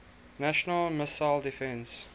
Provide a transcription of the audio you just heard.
national missile defense